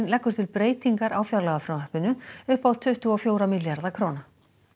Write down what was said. leggur til breytingar á fjárlagafrumvarpinu upp á tuttugu og fjóra milljarða króna